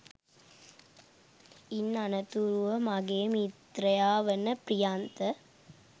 ඉන් අනතුරුව මගේ මිත්‍රයා වන ප්‍රියන්ත